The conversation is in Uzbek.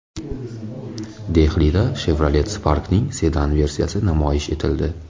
Dehlida Chevrolet Spark’ning sedan versiyasi namoyish etildi .